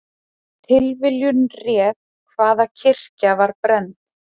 Tilviljun réð hvaða kirkja var brennd